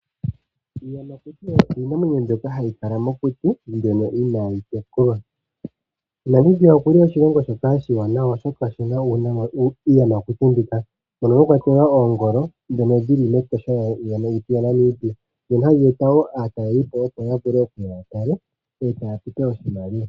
Iiyamakuti oyo iinamwenyo mbyoka hayi kala mokuti mbyono inaayi tekulwa. Namibia okuli oshilongo shoka oshiwanawa oshoka oshina iiyamakuti mbika. Mono mwakwatelwa oongolo dhono dhili mEtosha lyaNamibia. Dhono hadhi eta wo aatalelipo opo yavule okuya yatale e taye tupe oshimaliwa.